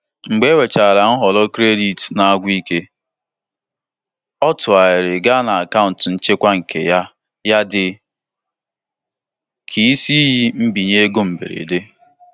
Mgbe ewerechara nhọrọ kredit na-agwụ ike, Ọ tụgharịrị gaa na akaụntụ nchekwa nke ya ya dị ka isi iyi mbinye ego mberede.